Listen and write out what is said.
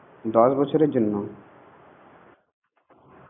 দশ বছরের জন্য